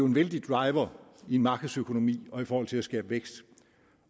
en vældig driver i en markedsøkonomi og i forhold til at skabe vækst